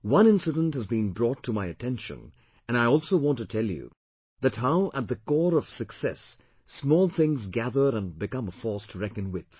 One incident has been brought to my attention and I also want to tell you that how at the core of success small things gather and become a force to reckon with